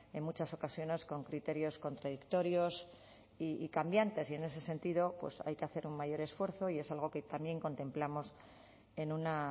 en muchas ocasiones con criterios contradictorios y cambiantes y en ese sentido pues hay que hacer un mayor esfuerzo y es algo que también contemplamos en una